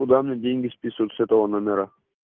куда мне деньги список с этого номера